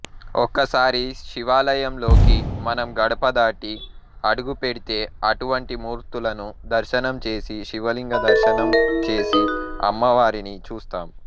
ఒక్కసారి శివాలయంలోకి మనం గడపదాటి అడుగుపెడితే అటువంటి మూర్తులను దర్శనం చేసి శివలింగ దర్శనం చేసి అమ్మవారిని చూస్తాము